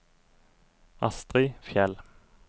Astri Fjeld